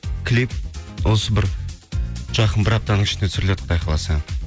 клип осы бір жақын бір аптаның ішінде түсіріледі құдай қаласа